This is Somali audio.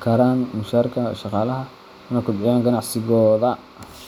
karaan mushaharka shaqaalaha, una kobciyaan ganacsigooda.